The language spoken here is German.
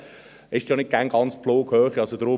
Das ist auch nicht immer ganz die Flughöhe.